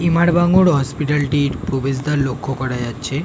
ইমার Bangur hospital -টি প্রবেশদ্বার লক্ষ্য করা যাচ্ছে ।